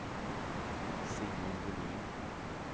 Simon Bolin